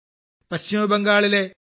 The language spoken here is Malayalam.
പശ്ചിമബംഗാളിലെ ശ്രീമതി